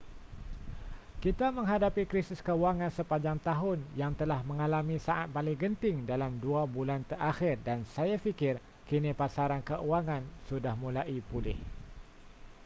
kita menghadapi krisis kewangan sepanjang tahun yang telah mengalami saat paling genting dalam dua bulan terakhir dan saya fikir kini pasaran kewangan sudah mulai pulih